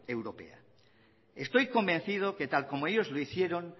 europea estoy convencido que tal como ellos lo hicieron